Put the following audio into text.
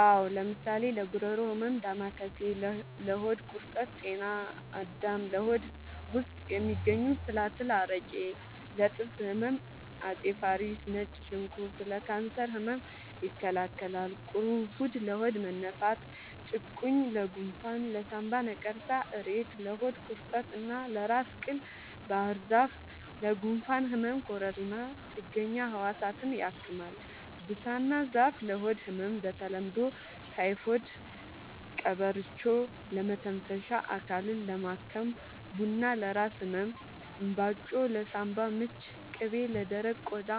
አዎ ለምሳሌ ለጉሮሮ ህመም ዳማከሴ ለሆድ ቁርጠት ጤና አዳም ለሆድ ውስጥ የሚገኙ ትላትል አረቄ ለጥርስ ህመም አፄ ፋሪስ ነጭ ሽንኩርት ለካንሰር ህመም ይከላከላል ቁሩፉድ ለሆድ መነፋት ጭቁኝ ለጎንፋን ለሳንባ ነቀርሳ እሬት ለሆድ ቁርጠት እና ለራስ ቅል ባህርዛፍ ለጉንፋን ህመም ኮረሪማ ጥገኛ ህዋሳትን ያክማል ብሳና ዛፍ ለሆድ ህመም በተለምዶ ታይፎድ ቀበርቿ ለመተንፈሻ አካልን ለማከም ቡና ለራስ ህመም እንባጮ ለሳንባ ምች ቅቤ ለደረቀ ቆዳ